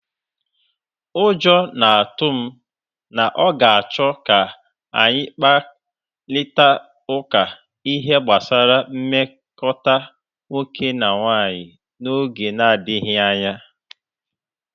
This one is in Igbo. Ụjọ na-atụ m na ọ ga-achọ ka anyị kparịta ụka ihe gbasara nmekọta nwoke na nwanyị n'oge na-adịghị anya.